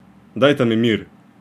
Dajta mi mir!